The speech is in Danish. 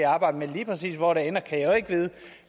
og arbejder med lige præcis hvor det ender kan jeg jo ikke vide